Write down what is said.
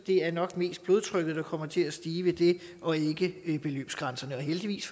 det er nok mest blodtrykket der kommer til at stige ved det og ikke beløbsgrænserne og heldigvis